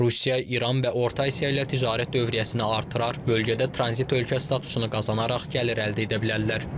Rusiya, İran və Orta Asiya ilə ticarət dövriyyəsini artırar, bölgədə tranzit ölkə statusunu qazanaraq gəlir əldə edə bilərlər.